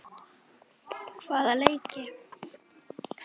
Hvaða leiki?